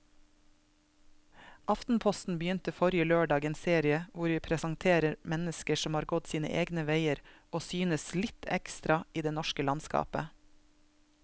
Aftenposten begynte forrige lørdag en serie hvor vi presenterer mennesker som har gått sine egne veier og synes litt ekstra i det norske landskapet.